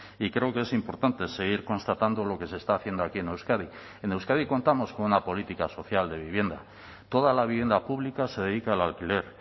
y creo que es importante seguir constatando lo que se está haciendo aquí en euskadi en euskadi contamos con una política social de vivienda toda la vivienda pública se dedica al alquiler